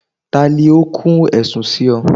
tali o kún ẹ̀sùn si ọ?